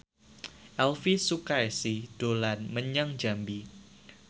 Elvi Sukaesih dolan menyang Jambi